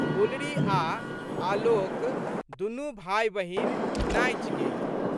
गुलरी आ' आलोक दुनू भाइबहिन नाँचि गेल।